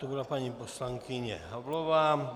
To byla paní poslankyně Havlová.